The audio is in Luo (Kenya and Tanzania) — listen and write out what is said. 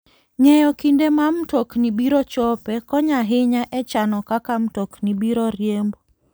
Ng'eyo kinde ma mtokni biro chopoe konyo ahinya e chano kaka mtokni biro riembo.